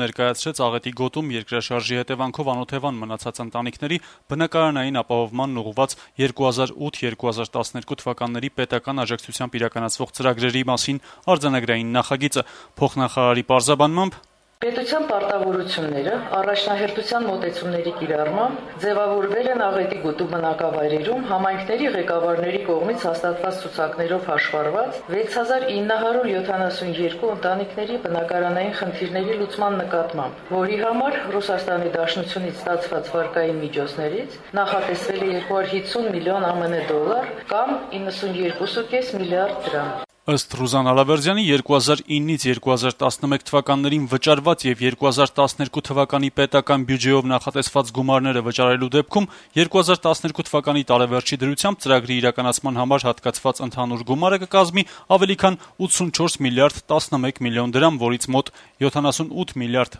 ներկայացրեց Աղետի գոտում երկրաշարժի հետեւանքով անօթեւան մնացած ընտանիքների բնակարանային ապահովմանն ուղղված 2008-2012 թվականների պետական աջակցությամբ իրականացվող ծրագրերի մասին արձանագրային նախագիծը: «Պետության պարտավորությունները, առաջնահերթության մոտեցումների կիրառմամբ, ձեւավորվել են Աղետի գոտու բնակավայրերում համայնքների ղեկավարների կողմից հաստատված ցուցակներով հաշվառված 6972 ընտանիքների բնակարանային խնդիրների լուծման նկատմամբ, որի համար Ռուսաստանի Դաշնությունից ստացված վարկային միջոցներից նախատեսվել է 250 միլիոն ԱՄՆ դոլար կամ 92.5 միլիարդ դրամ», - տեղեկացրեց փոխնախարարը: Նրա փոխանցմամբ` 2009-2011 թվականներին վճարված եւ 2012 թվականի պետական բյուջեով նախատեսված գումարները վճարվելու դեպքում ընթացիկ տարեվերջի դրությամբ ծրագրի իրականացման համար հատկացված ընդհանուր գումարը կկազմի ավելի քան 84 միլիարդ 11 միլիոն դրամ, որից մոտ 78 միլիարդ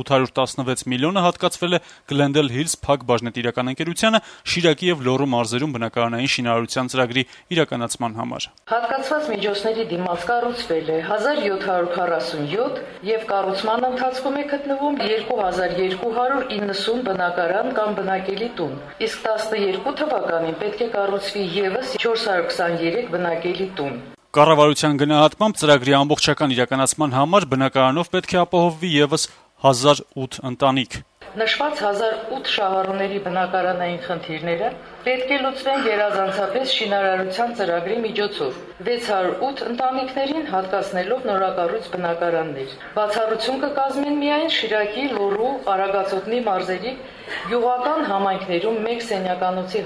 816 միլիոնը հատկացվել է «Գլենդեյլ Հիլզ» ընկերությանը` Շիրակի ու Լոռու մարզերում բնակարանային շինարարության ծրագրի իրականացման համար: «Հատկացված միջոցների դիմաց կառուցվել է 1747 եւ կառուցման ընթացքում է գտնվում 2290 բնակարան կամ բնակելի տուն: Իսկ 2012 թվականին պետք է կառուցվի եւս 423 բնակելի տուն», - նշեց Ռուզան Ալավերդյանը: Կառավարության գնահատմամբ, ծրագրի ամբողջական իրականացման համար բնակարանով պետք է ապահովվի եւս 1008 ընտանիք, որոնց բնակարանային խնդիրները պետք է լուծվեն գերազանցապես շինարարության ծրագրի միջոցով․ 608 ընտանիքների հատկացվելու են նորակառույց բնակարաններ, իսկ Շիրակի, Լոռու, Արագածոտնի մարզերի գյուղական համայնքներում 1 սենյականոցի